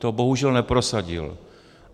To bohužel neprosadil.